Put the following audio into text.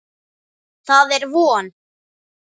Það er von.